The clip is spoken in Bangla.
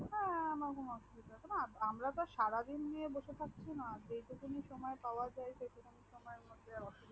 না না কোনো অসুবিধা আমরা তো সারা দিন নিয়ে বসে থাকছি না যে টুকিন ই সুময় পাওয়াযায় সেই টুকিন ই সুময় এর মধ্যে অসুবিদা